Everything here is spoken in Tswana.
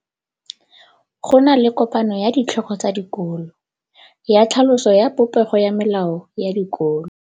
Go na le kopanô ya ditlhogo tsa dikolo ya tlhaloso ya popêgô ya melao ya dikolo.